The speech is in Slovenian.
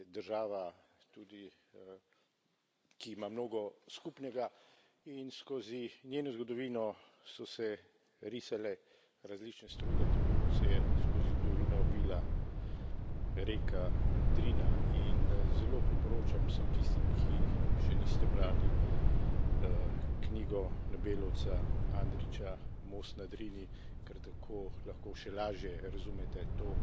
Država tudi, ki ima mnogo skupnega, in skozi njeno zgodovino so se risale različne struge, tako kot se je skozi zgodovino vila reka Drina in zelo priporočam vsem tistim, ki še niste brali, knjigo nobelovca Andrića Most na Drini, ker tako lahko še lažje razumete to